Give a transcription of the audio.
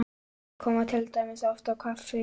Þeir koma til dæmis oft á kaffi